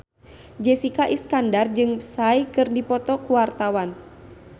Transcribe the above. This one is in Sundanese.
Jessica Iskandar jeung Psy keur dipoto ku wartawan